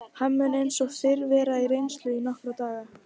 Hann mun eins og fyrr segir vera til reynslu í nokkra daga.